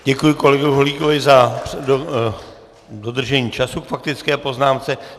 Děkuji kolegovi Holíkovi za dodržení času k faktické poznámce.